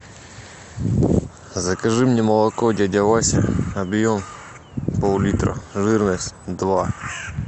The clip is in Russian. закажи мне молоко дядя вася объем пол литра жирность два